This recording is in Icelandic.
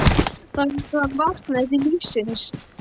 Þá var eins og hann vaknaði til lífsins.